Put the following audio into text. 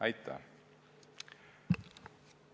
Aitäh!